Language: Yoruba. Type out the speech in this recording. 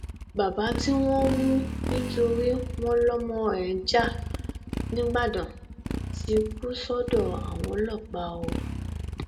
baba tí wọn mú nítorí wọn lọmọ ẹ ń ja nígbàdàn ti kú sọdọ àwọn ọlọpàá o